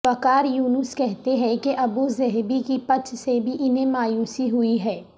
وقار یونس کہتے ہیں کہ ابوظہبی کی پچ سے بھی انھیں مایوسی ہوئی ہے